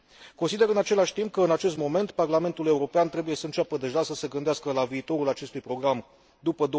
Consider, în același timp, că, în acest moment, Parlamentul European trebuie să înceapă deja să se gândească la viitorul acestui program după